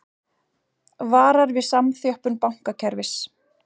Varar við samþjöppun bankakerfis